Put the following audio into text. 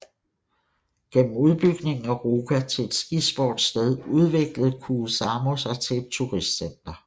Gennem udbygningen af Ruka til et skisportssted udviklede Kuusamo sig til et turistcenter